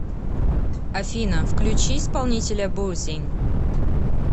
афина включи исполнителя бусин